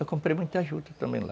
Eu comprei muita juta também lá.